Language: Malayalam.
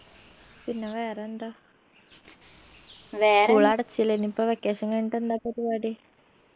പിന്നെ വേറെന്താ school അടച്ചില്ലേ എനിയിപ്പം vacation കഴിഞ്ഞിട്ട് എന്താ പരിപാടി